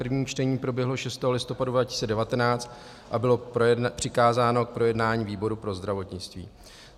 První čtení proběhlo 6. listopadu 2019 a bylo přikázáno k projednání výboru pro zdravotnictví.